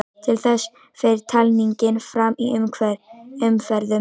Til þess fer talningin fram í umferðum.